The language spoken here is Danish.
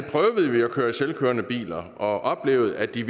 køre i selvkørende biler og oplevede at de